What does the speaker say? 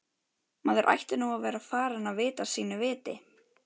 Maður ætti nú að vera farinn að vita sínu viti.